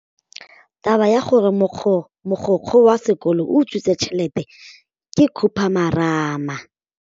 Taba ya gore mogokgo wa sekolo o utswitse tšhelete ke khupamarama.